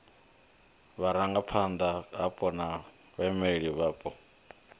vhurangaphanda hapo na vhaimeleli vhapo